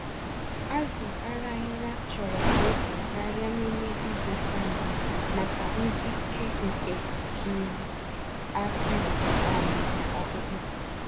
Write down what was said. Azụ Araghịra chọrọ protein karịa n'ime izuka mbụ, maka mgbsike nke um akwara um na ọkpụkpụ.